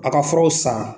A ka furaw san